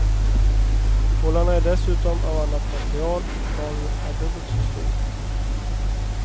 Bollarna är dessutom av annat material och planen är dubbelt så stor.